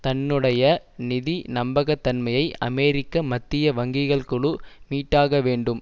தன்னுடைய நிதி நம்பகத்தன்மையை அமெரிக்க மத்திய வங்கிகள் குழு மீட்டாக வேண்டும்